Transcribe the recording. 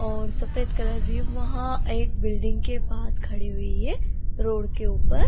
और सफ़ेद कलर एक बिल्डिंग के पास खड़ी हुई है रोड के ऊपर।